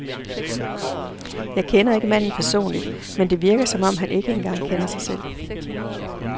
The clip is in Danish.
Jeg kender ikke manden personligt, men det virker, som om han ikke engang kender sig selv.